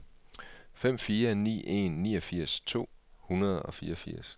fire fem ni en niogfirs to hundrede og fireogfirs